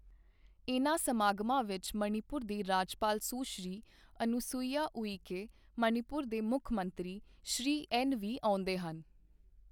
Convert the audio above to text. ਇਨ੍ਹਾਂ ਸਮਾਗਮਾਂ ਵਿੱਚ ਮਣੀਪੁਰ ਦੇ ਰਾਜਪਾਲ ਸੁਸ਼੍ਰੀ ਅਨੁਸੂਈਆ ਉਈਕੇ, ਮਣੀਪੁਰ ਦੇ ਮੁੱਖ ਮੰਤਰੀ ਸ਼੍ਰੀ ਐੱਨ ਵੀ ਆਉਂਦੇ ਹਨ।